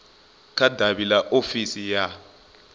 kha davhi ḽa ofisi ya